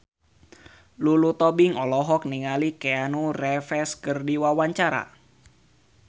Lulu Tobing olohok ningali Keanu Reeves keur diwawancara